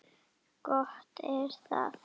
Gott er það.